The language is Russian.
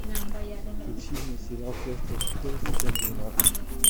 включи мне сериал следствие по телу сезон двенадцать